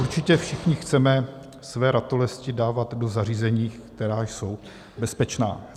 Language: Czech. Určitě všichni chceme své ratolesti dávat do zařízení, která jsou bezpečná.